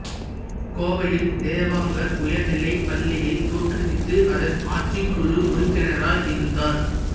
கோவையில் தேவாங்கர் உயர்நிலைப் பள்ளியைத் தோற்றுவித்து அதன் ஆட்சிக்குக்குழு உறுப்பினராய் இருந்தார்